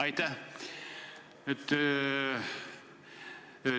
Aitäh!